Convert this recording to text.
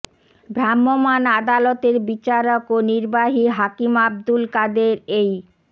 ভ্রাম্যমাণ আদালতের বিচারক ও নির্বাহী হাকিম আবদুল কাদের এই